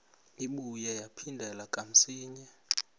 ibuye yaphindela kamsinya